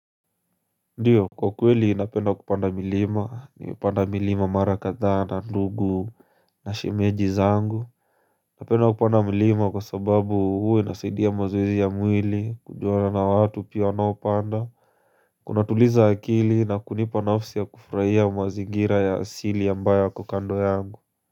Ndio kwa kweli napenda kupanda milima, nimepanda milima mara kadhaa, ndugu na shimeji zangu napenda kupanda kuona milima kwa sababu uwe inasaidia mazoezi ya mwili, kujuana na watu pia wanaopanda Kuna tuliza akili na kunipa nafsi ya kufurahia mwazigira ya asili ya ambayo yako kando yangu.